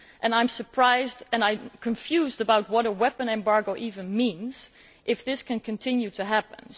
I am surprised, and confused about what a weapons embargo even means if this can continue to happen.